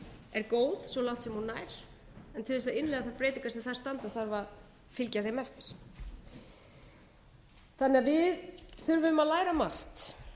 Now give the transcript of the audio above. er góð svo langt sem hún nær en til þess að innleiða þær breytingar sem þar standa þarf að fylgja þeim eftir þannig að við þurfum að læra margt